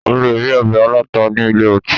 O le rí ọbẹ̀ aláta ní ilé ọtí.